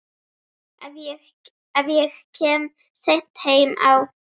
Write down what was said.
Ef ég kem seint heim á